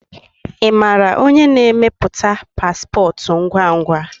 Imara onye na-eme pasipotu ngwangwa?